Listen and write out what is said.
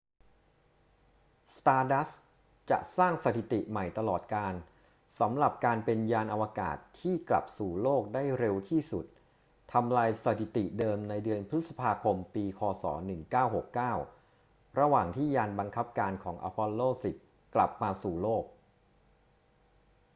stardust จะสร้างสถิติใหม่ตลอดกาลสำหรับการเป็นยานอวกาศที่กลับสู่โลกได้เร็วที่สุด ทำลายสถิติเดิมในเดือนพฤษภาคมปี ค. ศ. 1969 ระหว่างที่ยานบังคับการของ apollo x กลับมาสู่โลก